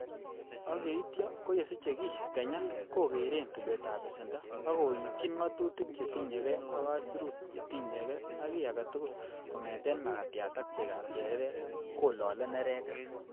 Ak yeityo ko ye siche key kenya kogere tulwetab besendo ak koityin ng'atutik chetinye gee ak aisurut chetinye gee ak kiy agetugul kongeten makatiat ak chegab chereret, kolole neregek.